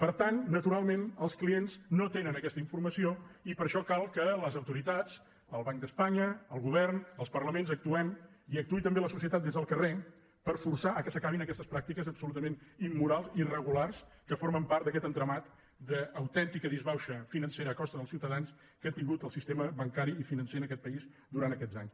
per tant natural·ment els clients no tenen aquesta informació i per això cal que les autoritats el banc d’espanya el go·vern els parlaments actuem i actuï també la socie·tat des del carrer per forçar perquè s’acabin aquestes pràctiques absolutament immorals irregulars que formen part d’aquest entramat d’autèntica disbauxa financera a costa dels ciutadans que ha tingut el sis·tema bancari i financer en aquest país durant aquests anys